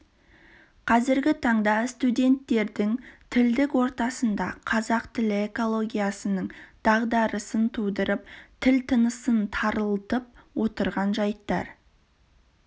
қазіргі таңда студенттердің тілдік ортасында қазақ тілі экологиясының дағдарысын тудырып тіл тынысын тарылтып отырған жайттар